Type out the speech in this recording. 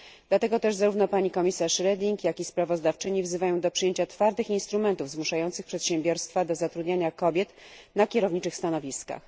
Dlatego też zarówno komisarz Reding, jak i sprawozdawczyni wzywają do przyjęcia twardych instrumentów zmuszających przedsiębiorstwa do zatrudniania kobiet na kierowniczych stanowiskach.